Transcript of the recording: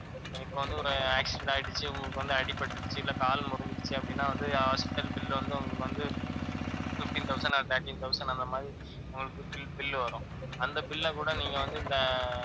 இப்ப வந்து ஒரு accident ஆயிடுச்சு, உங்களுக்கு வந்து அடிபட்டிடுச்சு, இல்ல கால் உடைஞ்சிடுச்சு அப்படின்னா வந்து hospital bill வந்து உங்களுக்கு வந்து fifteen thousand or thirteen thousand அந்த மாதிரி உங்களுக்கு bill bill வரும். அந்த bill அ கூட நீங்க வந்து இந்த